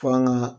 F'an ga